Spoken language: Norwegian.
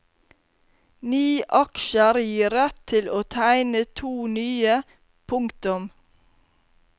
Ni aksjer gir rett til å tegne to nye. punktum